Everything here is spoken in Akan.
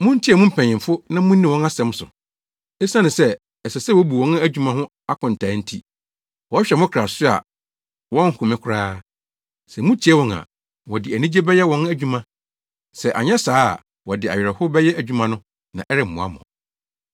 Muntie mo mpanyimfo na munni wɔn asɛm so. Esiane sɛ ɛsɛ sɛ wobu wɔn adwuma ho akontaa nti, wɔhwɛ mo kra so a wɔnhome koraa. Sɛ mutie wɔn a, wɔde anigye bɛyɛ wɔn adwuma. Sɛ anyɛ saa a wɔde awerɛhow bɛyɛ adwuma no na ɛremmoa mo.